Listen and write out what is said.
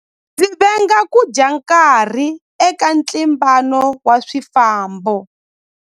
Ndzi venga ku dya nkarhi eka ntlimbano wa swifambo.